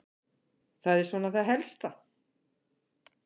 Það er svona það helsta.